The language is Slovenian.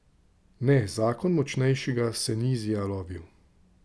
Ne, zakon močnejšega se ni izjalovil.